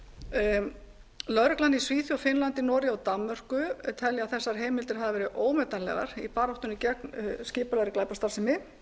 misbeitt lögreglan í svíþjóð noregi finnlandi og danmörku telur þessar heimildar hafa verið ómetanlegar í baráttunni gegn skipulagðri glæpastarfsemi